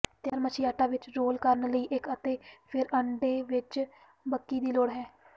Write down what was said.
ਤਿਆਰ ਮੱਛੀ ਆਟਾ ਵਿੱਚ ਰੋਲ ਕਰਨ ਲਈ ਅਤੇ ਫਿਰ ਅੰਡੇ ਵਿੱਚ ਬਕੀ ਦੀ ਲੋੜ ਹੈ